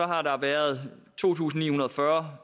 har der været to tusind ni hundrede og fyrre